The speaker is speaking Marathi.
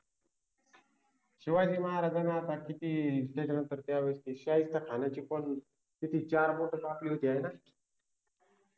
शिवाजि महाराजाना आता किति त्याच्यानंतर त्यावेळेस शाहिस्त्य खानाचि पन किती चार बोट कापलि होति आहे ना